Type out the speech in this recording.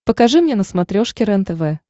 покажи мне на смотрешке рентв